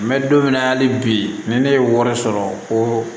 N bɛ don min na hali bi ni ne ye wari sɔrɔ ko